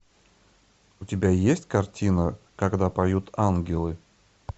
у тебя есть картина когда поют ангелы